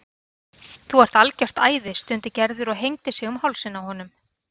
Þú ert algjört æði stundi Gerður og hengdi sig um hálsinn á honum.